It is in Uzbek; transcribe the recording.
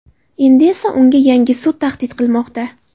Endi esa unga yangi sud tahdid qilmoqda.